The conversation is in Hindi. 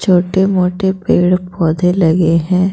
छोटे-मोटे पेड़ पौधे लगे हैं।